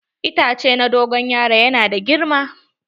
Itace na dogon yaron yana da girma.